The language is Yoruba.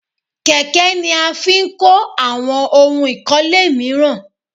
Kẹ̀kẹ́ ni a fi n kó àwọn ohun ìkọ́lé míràn